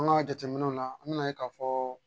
An ka jateminɛw la an bɛna ye k'a fɔ